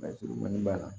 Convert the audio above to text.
b'a la